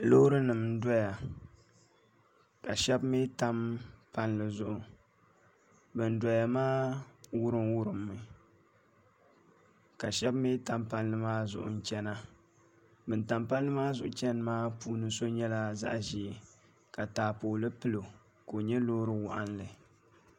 Loori nim n doya ka shab mii tam palli zuɣu bin doya maa wurim wurimmi ka shab mii tam palli maa zuɣu n chɛna bin tam palli maa zuɣu chɛni maa puuni so nyɛla zaɣ ʒiɛ ka taapooli pilo ka o nyɛ loori waɣanli